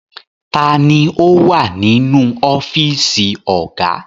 Ta ni ó wà nínú ọ́fíísì ọ̀gá?